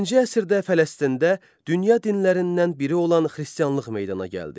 Birinci əsrdə Fələstində dünya dinlərindən biri olan Xristianlıq meydana gəldi.